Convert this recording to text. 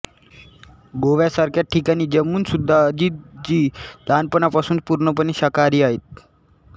गोव्यासारख्या ठिकाणी जन्मून सुद्धा अजितजी लहानपणापासून पूर्णपणे शाकाहारी आहेत